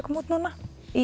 koma út núna